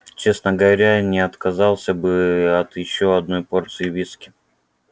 честно говоря я не отказался бы от ещё одной порции виски